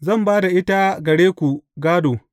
Zan ba da ita gare ku gādo.